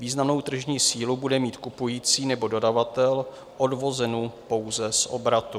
Významnou tržní sílu bude mít kupující nebo dodavatel odvozenu pouze z obratu.